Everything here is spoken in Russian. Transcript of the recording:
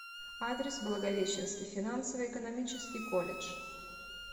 адрес благовещенский финансово экономический колледж